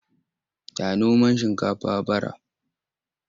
Ya noma shinkafa bara.